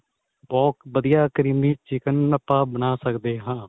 ਬਹੁਤ ਵਧੀਆ creamy chicken ਆਪਾਂ ਬਣਾ ਸਕਦੇ ਹਾਂ.